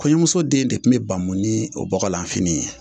Kɔɲɔmuso den de tun be bamu ni o bɔgɔlan fini ye